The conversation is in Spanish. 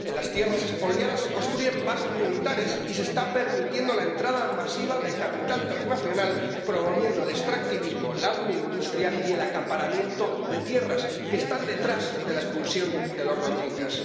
En las tierras expoliadas se construyen bases militares y se está permitiendo la entrada masiva de capital transnacional promoviendo el extractivismo, la agroindustria y el acaparamiento de tierras que están detrás de la expulsión de los rohinyás.